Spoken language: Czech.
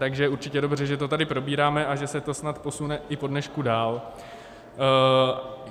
Takže je určitě dobře, že to tady probíráme a že se to snad i posune po dnešku dál.